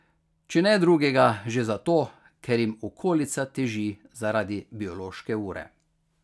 Če ne drugega, že zato, ker jim okolica teži zaradi biološke ure.